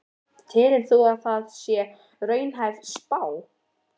Telur þú að það sé raunhæf spá?